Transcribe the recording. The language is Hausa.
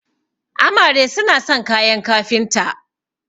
amare suna son kayan kafinta